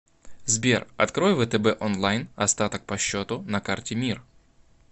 сбер открой втб онлайн остаток по счету на карте мир